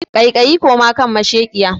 Kai kayi koma kan mashekiya